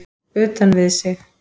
Utan við sig?